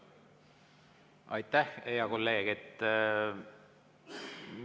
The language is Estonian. Aitäh, hea kolleeg!